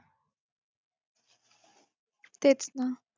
तेच ना